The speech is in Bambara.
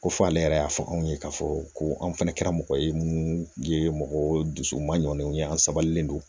Ko fɔ ale yɛrɛ y'a fɔ anw ye k'a fɔ ko an fana kɛra mɔgɔ ye munnu ye mɔgɔ dusu mandenw ye an sabalen don